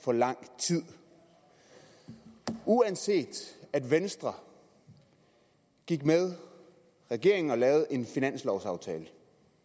for lang tid uanset at venstre gik med regeringen og lavede en finanslovsaftale